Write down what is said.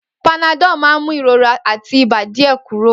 Panadol máa ń mú ìrora àti ibà díẹ̀ kúrò.